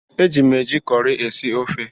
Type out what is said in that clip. Eji m eji cọrị esi ofe.